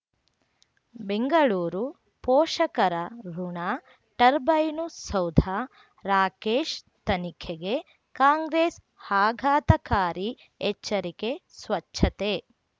ಬೆಂಗಳೂರು ಪೋಷಕರಋಣ ಟರ್ಬೈನು ಸೌಧ ರಾಕೇಶ್ ತನಿಖೆಗೆ ಕಾಂಗ್ರೆಸ್ ಆಘಾತಕಾರಿ ಎಚ್ಚರಿಕೆ ಸ್ವಚ್ಛತೆ